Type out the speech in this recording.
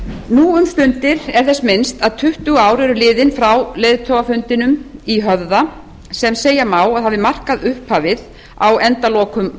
nú um stundir er þess minnst að tuttugu ár eru liðin frá leiðtogafundinum í höfða sem segja má að hafi markað upphafið á endalokum